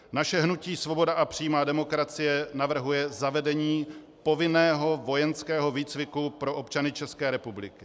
Naše hnutí Svoboda a přímá demokracie navrhuje zavedení povinného vojenského výcviku pro občany České republiky.